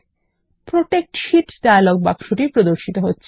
protect sheet dialog বাক্স প্রদর্শিত হচ্ছে